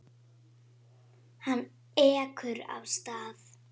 Hann ekur af stað.